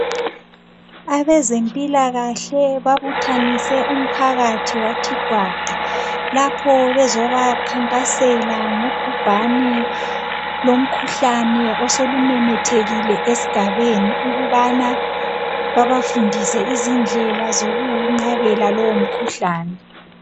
Abezempilakahle babuthanise umphakathi wathi kwaqa lapho bezobakhankasela ngobhubhane lomkhuhlane osolumemethekile esigabeni ukubana babafundise izindlela zokuwuqabela lowo mkhuhlane.